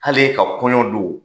Hal'e ka kɔɲɔ don